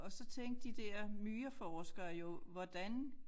Og så tænkte de der myreforskere jo hvordan